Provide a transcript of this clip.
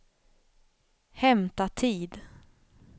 hämta tid